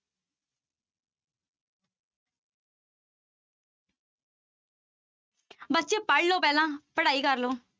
ਬੱਚੇ ਪੜ੍ਹ ਲਓ ਪਹਿਲਾਂ, ਪੜ੍ਹਾਈ ਕਰ ਲਓ।